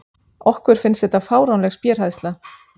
Okkur finnst þetta fáránleg spéhræðsla.